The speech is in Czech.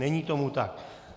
Není tomu tak.